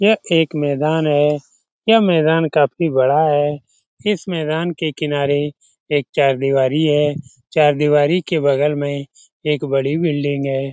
यह एक मैदान है यह मैदान काफी बड़ा है इस मैदान के किनारे एक चार दिवारी है चार दिवारी के बगल में एक बड़ी बिल्डिंग है ।